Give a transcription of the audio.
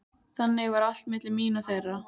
Þannig var allt milli mín og þeirra.